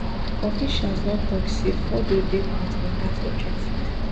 officials don tok say fordo dey part of dat objective